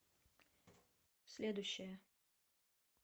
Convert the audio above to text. следующая